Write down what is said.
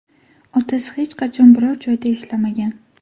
Otasi hech qachon biror joyda ishlamagan.